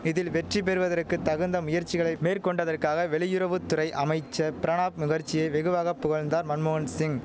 இதில் வெற்றி பெறுவதற்கு தகுந்த முயற்சிகளை மேற்கொண்டதற்காக வெளியுறவு துறை அமைச்சர் பிரணாப் முகர்ஜியை வெகுவாக புகழ்ந்தார் மன்மோகன் சிங்